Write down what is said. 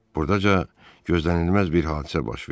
Buradaca gözlənilməz bir hadisə baş verdi.